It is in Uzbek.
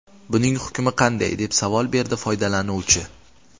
Buning hukmi qanday?” deb savol berdi foydalanuvchi.